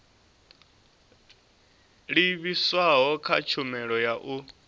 livhiswaho kha tshumelo ya u